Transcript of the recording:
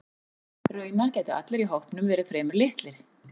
Raunar gætu allir í hópnum verið fremur litlir.